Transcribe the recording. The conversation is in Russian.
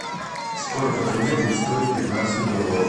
сколько тенге будет стоить пятнадцать долларов